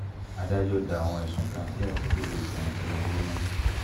adájọ́ da àwọn ẹ̀sùn kan tí àtìkú fi kan tìṣubù nù